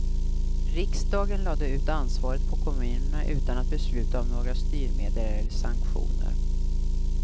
Riksdagen lade ut ansvaret på kommunerna, utan att besluta om några styrmedel eller sanktioner.